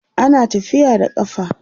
ana tafiya da ƙafa